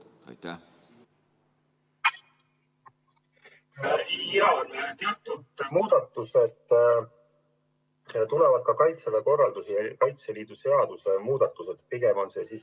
Jaa, teatud muudatused tulevad ka kaitseväe korralduse seaduses ja Kaitseliidu seaduses.